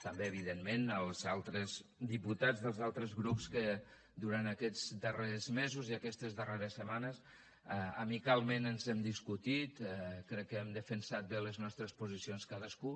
també evidentment als altres diputats dels altres grups que durant aquests darrers mesos i aquestes darreres setmanes amicalment ens hem discutit crec que hem defensat bé les nostres posicions cadascú